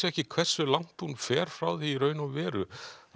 ekki hversu langt hún fer frá því í raun og veru